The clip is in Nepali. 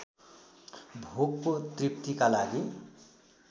भोकको तृप्तिका लागि